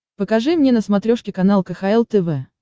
покажи мне на смотрешке канал кхл тв